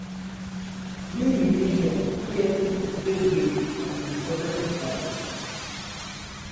being in nature fit help pipo take break from di problem of life